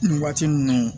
Nin waati ninnu